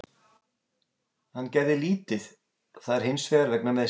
Hann gerði lítið þar hinsvegar vegna meiðsla.